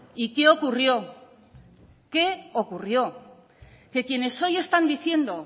y qué ocurrió qué ocurrió que quienes hoy están diciendo